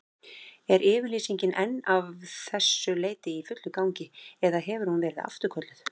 Er yfirlýsingin enn að þessu leyti í fullu gildi, eða hefur hún verið afturkölluð?